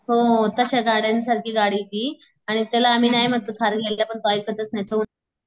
हो तश्या गाड्यांसारखी गाडी ती आणि आम्ही त्याला नाय म्हणतो थार घ्यायला पण तो ऐकतच नाही तो म्ह